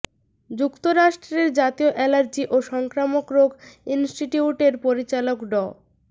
যুক্তরাষ্ট্রের জাতীয় অ্যালার্জি ও সংক্রামক রোগ ইনস্টিটিউটের পরিচালক ড